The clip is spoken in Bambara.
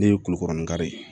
Ne ye kulikoro ni kari ye